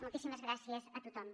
moltíssimes gràcies a tothom